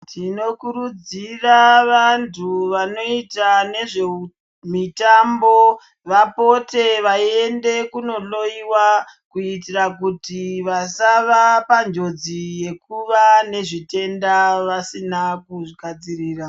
Tinokurudzira vantu vanoita nezvemitambo vapote veyiende kunohloyiwa kuitira kuti vasava panjodzi yekuva nezvitenda vasina kuzvigadzirira.